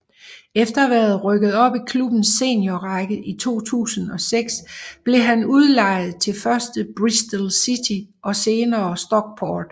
Efter at være rykket op i klubbens seniorrækker i 2006 blev han udlejet til først Bristol City og senere Stockport